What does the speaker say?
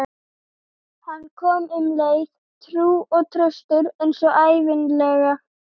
Hann kom um leið, trúr og traustur eins og ævinlega.